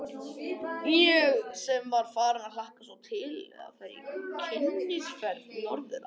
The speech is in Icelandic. Ég sem var farin að hlakka svo mikið til að fara í kynnisferð norður að